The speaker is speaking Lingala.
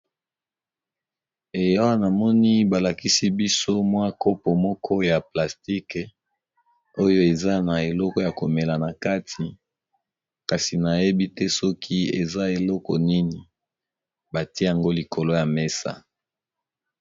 Eh awa namoni ba lakisi biso mwa kopo moko ya plastique oyo eza na eloko ya komela na kati, kasi nayebi te soki eza eloko nini batie yango likolo ya mesa.